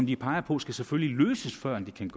de peger på skal selvfølgelig løses før det kan